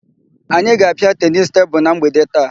Anyị ga-apịa tenisi tebulu na mgbede taa.